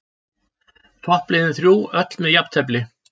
Toppliðin þrjú öll með jafntefli